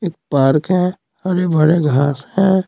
एक पार्क है हरे भरे घास हैं।